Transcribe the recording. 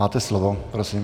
Máte slovo, prosím.